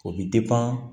O bɛ